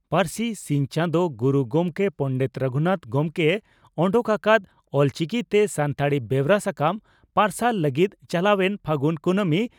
ᱯᱟᱹᱨᱥᱤ ᱥᱤᱧ ᱪᱟᱸᱫᱚ ᱜᱩᱨᱩ ᱜᱚᱢᱠᱮ ᱯᱚᱸᱰᱮᱛ ᱨᱟᱹᱜᱷᱩᱱᱟᱛ ᱜᱚᱢᱠᱮᱭ ᱚᱰᱚᱠ ᱟᱠᱟᱫ ᱚᱞᱪᱤᱠᱤᱛᱮ ᱥᱟᱱᱛᱟᱲᱤ ᱵᱮᱣᱨᱟ ᱥᱟᱠᱟᱢ ᱯᱟᱨᱥᱟᱞ ᱞᱟᱹᱜᱤᱫ ᱪᱟᱞᱟᱣ ᱮᱱ ᱯᱷᱟᱹᱜᱩᱱ ᱠᱩᱱᱟᱹᱢᱤ